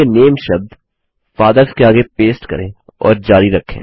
चलिए नामे शब्द फादर्स के आगे पेस्ट करें और जारी रखें